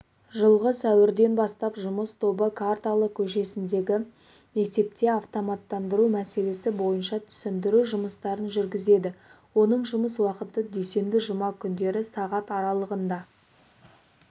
жылғы сәуірден бастап жұмыс тобы қарталы көшесіндегі мектепте автоматтандыру мәселесі бойынша түсіндіру жұмыстарын жүргізеді оның жұмыс уақыты дүйсенбі-жұма күндері сағат аралығында